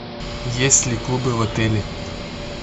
есть ли клубы в отеле